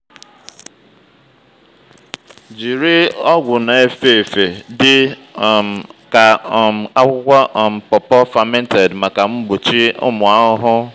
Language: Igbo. jiri ọgwụ na-efe efe dị um ka um akwụkwọ um pawpaw fermented maka mgbochi ụmụ ahụhụ.